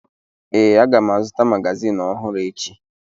Ee, aga m azụta magazịn ọhụrụ echi.